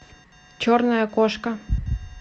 черная кошка